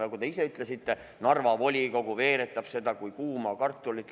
Nagu te isegi ütlesite, Narva volikogu veeretab seda kui kuuma kartulit.